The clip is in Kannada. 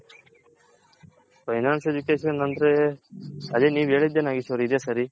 Finance Education ಅಂದ್ರೆ ಅದೆ ನೀವ್ ಹೇಳಿದ್ದೆ ನಾಗೇಶ್ ಅವ್ರೆ ಇದೆ ಸರಿ.